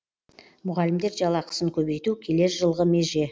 мұғалімдер жалақысын көбейту келер жылғы меже